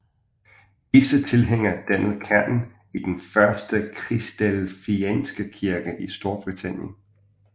Disse tilhængere dannede kernen i den første kristadelfianske kirke i Storbritannien